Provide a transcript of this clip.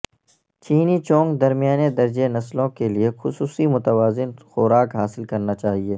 چینی چونگ درمیانے درجے نسلوں کے لئے خصوصی متوازن خوراک حاصل کرنا چاہئے